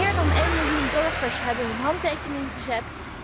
Meer dan één miljoen burgers hebben hun handtekening gezet.